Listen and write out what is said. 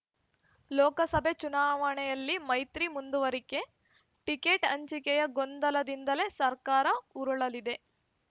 ಲೋಕಸಭೆ ಚುನಾವಣೆಯಲ್ಲಿ ಮೈತ್ರಿ ಮುಂದುವರಿಕೆ ಟಿಕೆಟ್‌ ಹಂಚಿಕೆಯ ಗೊಂದಲದಿಂದಲೇ ಸರ್ಕಾರ ಉರುಳಲಿದೆ